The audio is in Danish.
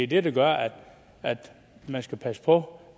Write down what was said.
det der gør at man skal passe på